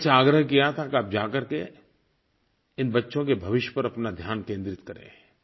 मैंने उनसे आग्रह किया था कि आप जाकर के इन बच्चों के भविष्य पर अपना ध्यान केन्द्रित करें